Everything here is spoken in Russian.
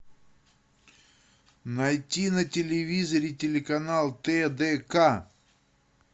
найти на телевизоре телеканал тдк